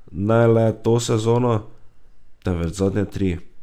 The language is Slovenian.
Ne le to sezono, temveč zadnje tri.